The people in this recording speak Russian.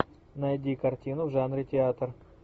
найди картину в жанре театр